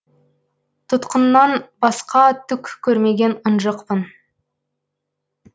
тұтқыннан басқа түк көрмеген ынжықпын